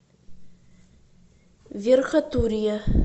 верхотурье